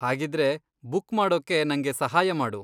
ಹಾಗಿದ್ರೆ ಬುಕ್ ಮಾಡೋಕೆ ನಂಗೆ ಸಹಾಯ ಮಾಡು.